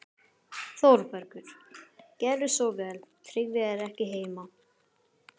ÞÓRBERGUR: Gjörðu svo vel, Tryggvi er ekki heima.